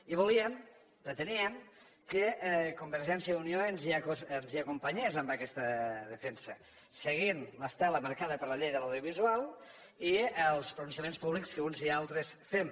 i volíem preteníem que convergència i unió ens hi acompanyés en aquesta defensa seguint l’estela marcada per la llei de l’audiovisual i els pronunciaments públics que uns i altres fem